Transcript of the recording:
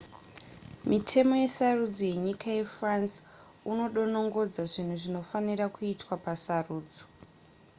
mitemo yesarudzo yenyika yefrance unodonongodza zvinhu zvinofanira kuitwa pasarudzo